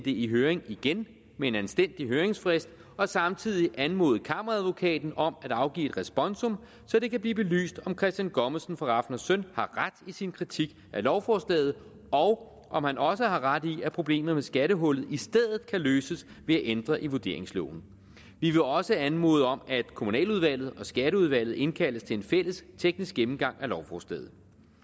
i høring igen med en anstændig høringsfrist og samtidig anmode kammeradvokaten om at afgive et responsum så det kan blive belyst om christian gommesen fra rafn søn har ret i sin kritik af lovforslaget og om han også har ret i at problemet med skattehullet i stedet kan løses ved at ændre i vurderingsloven vi vil også anmode om at kommunaludvalget og skatteudvalget indkaldes til en fælles teknisk gennemgang af lovforslaget